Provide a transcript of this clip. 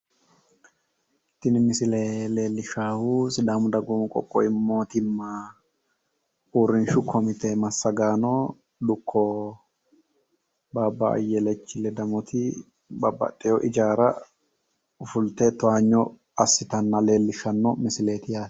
tini misile leellishshaahu sidaamu dagoomu qoqqowi mootimma uurrinshu komite massagaano dukko baabba ayyelechi ledamoti babbaxxeyo ijaara fulte towanyo assitanna leellishshawo misileeti yaate